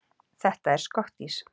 Þetta er skottís!